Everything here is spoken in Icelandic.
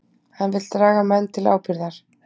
Hann vill draga menn til ábyrgðar